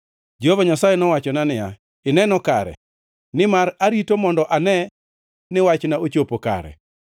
Jehova Nyasaye nowachona niya, “Ineno kare, nimar arito mondo ane ni wachna ochopo kare.”